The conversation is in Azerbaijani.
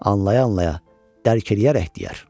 Anlaya-anlaya, dərk eləyərək deyər.